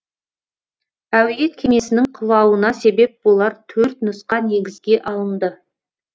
әуе кемесінің құлауына себеп болар төрт нұсқа негізге алынды